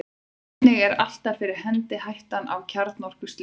einnig er alltaf fyrir hendi hættan á kjarnorkuslysum